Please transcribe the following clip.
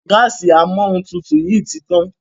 Gáàsì Amóhuntutù yí tí tán.